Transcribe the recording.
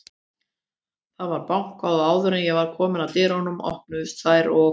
Það var bankað og áður en ég var komin að dyrunum, opnuðust þær og